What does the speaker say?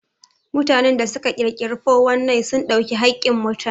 Mutanen da su ka ƙirƙiri ''419'' sun ɗau hakkin mutane